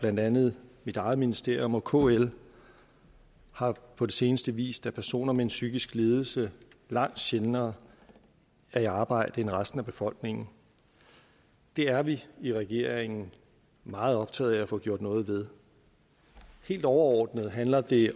blandt andet mit eget ministerium og kl har på det seneste vist at personer med en psykisk lidelse langt sjældnere er i arbejde end resten af befolkningen det er vi i regeringen meget optaget af at få gjort noget ved helt overordnet handler det